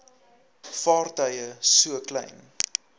vaartuie so klein